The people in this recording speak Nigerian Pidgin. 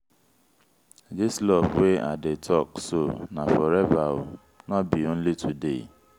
dis love wey i dey talk so na forever o no be only today.